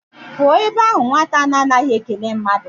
Pụọ ebe ahụ nwata a na a naghị ekele mmadụ!